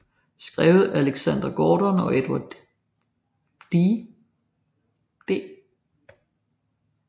Skrevet af Alex Gordon og Edward D